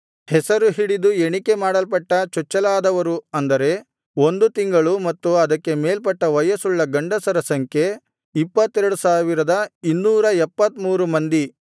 ಹೆಸರು ಹಿಡಿದು ಎಣಿಕೆ ಮಾಡಲ್ಪಟ್ಟ ಚೊಚ್ಚಲಾದವರು ಅಂದರೆ ಒಂದು ತಿಂಗಳು ಮತ್ತು ಅದಕ್ಕೆ ಮೇಲ್ಪಟ್ಟ ವಯಸ್ಸುಳ್ಳ ಗಂಡಸರ ಸಂಖ್ಯೆ 22273 ಮಂದಿ